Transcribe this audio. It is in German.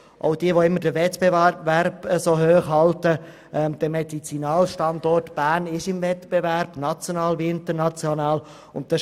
An diejenigen, die immer den Wettbewerb hochhalten: Der Medizinalstandort Bern steht sowohl national als auch international in einem Wettbewerb.